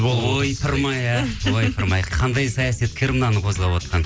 ойпырмай а ойпырмай қандай саясаткер мынаны қозғап отқан